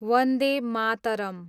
Vande Mataram